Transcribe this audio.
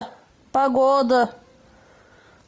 погода